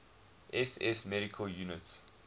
ss medical units